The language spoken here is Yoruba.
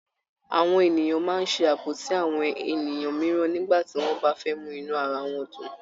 Àwọn ènìyàn máa ń ṣe àbọ̀sí àwọn ènìyàn mìíràn nígbà tí wọ́n bá fẹ́ mú inú ara wọn dùn.